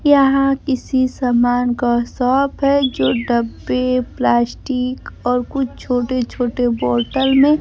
यहां किसी समान का शॉप है जो डब्बे प्लास्टिक और कुछ छोटे-छोटे बॉटल में --